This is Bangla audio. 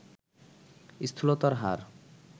স্থূলতার হার